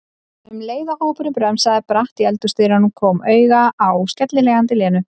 um leið og hópurinn bremsaði bratt í eldhúsdyrum, kom auga á skellihlæjandi Lenu.